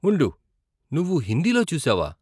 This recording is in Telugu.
ఉండు, నువ్వు హిందీలో చూసావా?